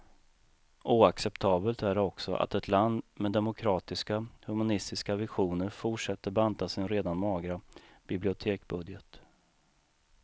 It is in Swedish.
Oacceptabelt är det också att ett land med demokratiska, humanistiska visioner fortsätter banta sin redan magra biblioteksbudget.